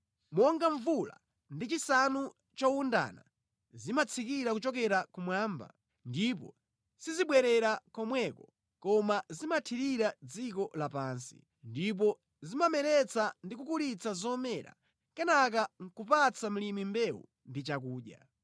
Monga mvula ndi chisanu chowundana zimatsika kuchokera kumwamba, ndipo sizibwerera komweko koma zimathirira dziko lapansi. Ndipo zimameretsa ndi kukulitsa zomera kenaka nʼkupatsa mlimi mbewu ndi chakudya.